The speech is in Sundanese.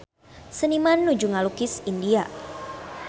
Seniman nuju ngalukis India